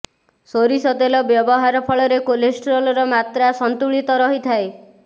ସୋରିଷ ତେଲ ବ୍ୟବହାର ଫଳରେ କୋଲେଷ୍ଟ୍ରଲର ମାତ୍ର ସନ୍ତୁଳିତ ରହିଥାଏ